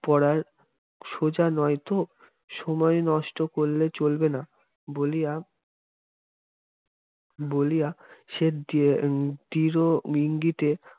পড়ার সোজা নয় ত সময় নষ্ট করলে চলবে না বলিয়া বলিয়া সে দৃঢ় ইঙ্গিতে